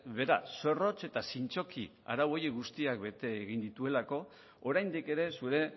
behera zorrotz eta zintzoki arau horiek guztiak bete egin dituelako oraindik ere zure